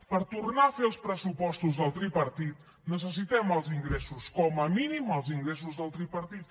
per tornar a fer els pressupostos del tripartit necessitem els ingressos com a mínim els ingressos del tripartit